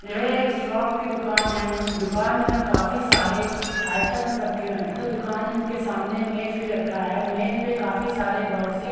यह एक शॉप की दुकान है दुकान में काफी सारे आइटम्स रखे हैं तथा दुकान के सामने मेज भी रखा है मेज में काफी सारे बॉक्सेस --